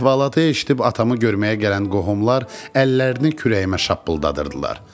Əhvalatı eşidib atamı görməyə gələn qohumlar əllərini kürəyimə şappıldadırdılar.